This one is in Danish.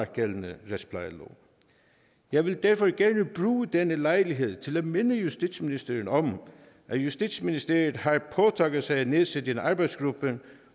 gældende retsplejelov jeg vil derfor gerne bruge denne lejlighed til at minde justitsministeren om at justitsministeriet har påtaget sig at nedsætte en arbejdsgruppe